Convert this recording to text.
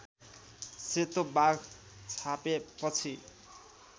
सेतो बाघ छापेपछि